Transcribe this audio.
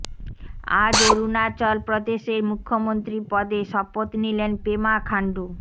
আজ অরুণাচল প্রদেশের মুখ্যমন্ত্রী পদে শপথ নিলেন পেমা খান্ডু